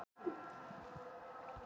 Rúða sprakk í íbúðarhúsi